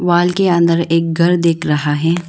Wall के अंदर एक घर दिख रहा है।